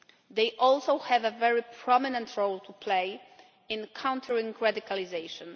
They also have a very prominent role to play in countering radicalisation.